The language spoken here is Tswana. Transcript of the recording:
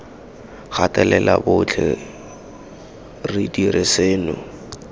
gatelela botlhe re dira seno